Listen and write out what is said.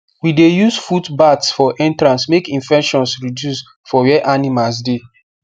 we dey use footbaths for entrance make infections reduce for where animals dey